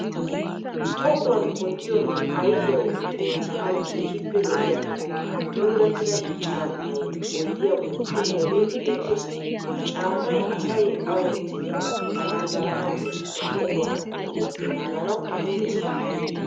Tohuwan wottiyonne ayfiyawu xeelanawu keehippe lo'iyanne puulattida caammayi oyidiya bolli de'iyagee beettes. Caammayi asay a wottidi manddaranawunne ba tohuwa xubiyappe naaganawu maaddees.